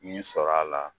Nin sɔrɔla